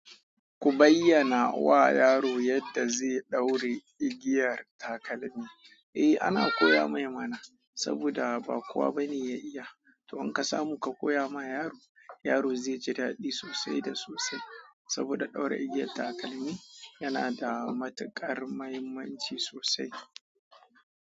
Ku bayyana wa yaro yadda zai ɗaure igiya takalmi. Eh ana koya mai mana saboda ba kowa bane ya iya. To in ka samu ka koya ma yaro, yaro zai ji daɗi sosai da sosai. Saboda ɗaura igiyar takalmi yana da matuƙar mahimmanci sosai.